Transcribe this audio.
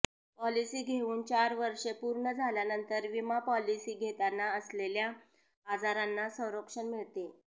policy घेऊन चार वर्षे पूर्ण झाल्यानंतर विमा पॉलिसी घेताना असलेल्या आजारांना संरक्षण मिळते